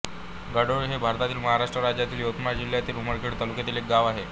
घाडोळी हे भारतातील महाराष्ट्र राज्यातील यवतमाळ जिल्ह्यातील उमरखेड तालुक्यातील एक गाव आहे